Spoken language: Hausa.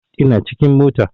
Ina cikin mota